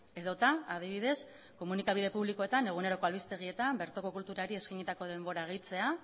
edota adibidez komunikabide publikoetan eguneroko albistegietan bertoko kulturari eskainitako denbora gehitzea